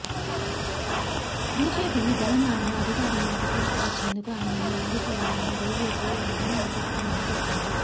బీజేపీని తెలంగాణలో అధికారంలోకి తీసుకు వచ్చేందుకు ఆయనన్ను వాడుకోవాలని బీజేపీ అధినాయకత్వం భావిస్తుంది